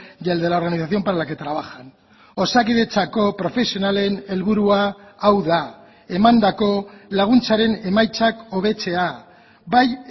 y el de la organización para la que trabajan osakidetzako profesionalen helburua hau da emandako laguntzaren emaitzak hobetzea bai